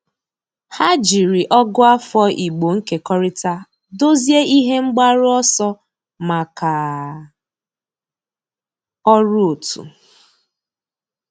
Há jìrì Ọ̀gụ́àfọ̀ Ị̀gbò nkekọrịta dòzìé ihe mgbaru ọsọ màkà ọ́rụ́ otu.